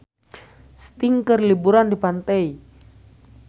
Sting keur liburan di pantai